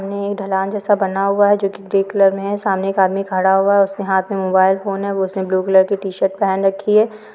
ढलान जैसा बना हुआ है जोक ग्रे कलर मे है सामने एक आदमी खडा हुआ है उसके हाथ मे मोबाईल फोन है वो उसने ब्लू कलर की टि शर्ट पहेन रखी है।